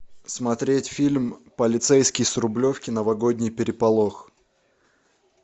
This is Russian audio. смотреть фильм полицейский с рублевки новогодний переполох